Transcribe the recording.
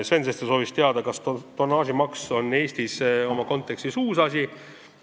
Sven Sester soovis teada, kas tonnaažimaks on selles kontekstis Eestis uus asi.